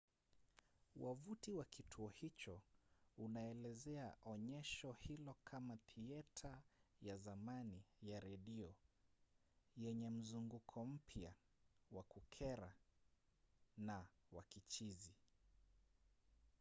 wavuti wa kituo hicho unaelezea onyesho hilo kama thieta ya zamani ya redio yenye mzunguko mpya wa kukera na wa kichizi!